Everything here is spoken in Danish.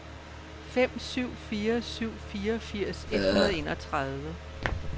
fem syv fire syv fireogfirs et hundrede og enogtredive